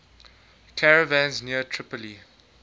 caravans near tripoli